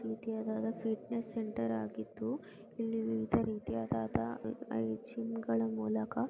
ವಿದ್ಯಾದಾದ fitness centre ಆಗಿದ್ದು ಇಲ್ಲಿ ವಿವಿಧ ರೀತಿಯಾದಾದ ಜಿಮ್ ಗಳ ಮೂಲಕ --